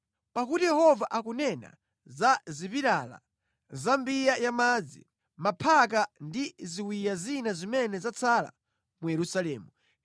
Pakuti Yehova akunena za zipilala, za mbiya ya madzi, maphaka ndi ziwiya zina zimene zatsala mu Yerusalemu.